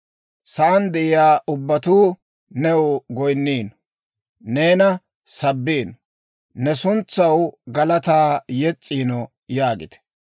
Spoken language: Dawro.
Sa'aan de'iyaa ubbatuu new goyinniino; neena sabbiino; ne suntsaw galataa yes's'iino» yaagite.